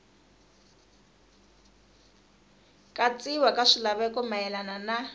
katsiwa ka swilaveko mayelana na